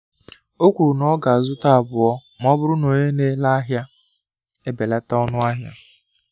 Ọ kwuru na ọ ga-azụta abụọ ma ọ bụrụ na onye na-ere ahịa ebelata ọnụ ahịa.